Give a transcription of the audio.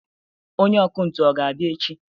Onye ọkụ ntụ ọ ga-abịa echi